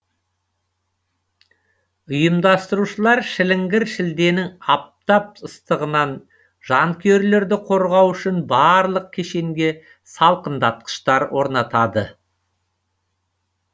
ұйымдастырушылар шіліңгір шілденің аптап ыстығынан жанкүйерлерді қорғау үшін барлық кешенге салқындатқыштар орнатады